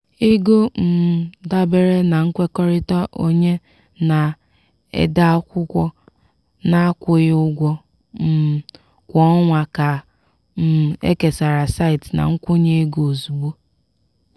ego um dabere na nkwekọrịta onye na-ede akwụkwọ na-akwụghị ụgwọ um kwa ọnwa ka um ekesara site na nkwụnye ego ozugbo.